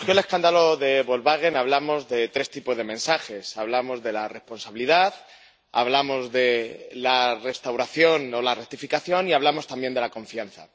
Señor presidente, cuando surgió el escándalo de Volkswagen, hablamos de tres tipos de mensajes hablamos de la responsabilidad, hablamos de la restauración o la rectificación y hablamos también de la confianza.